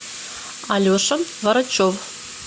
алеша варачев